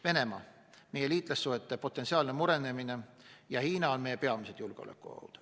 Venemaa, meie liitlassuhete potentsiaalne murenemine ja Hiina on meie peamised julgeolekuohud.